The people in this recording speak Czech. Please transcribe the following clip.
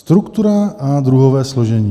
Struktura a druhové složení.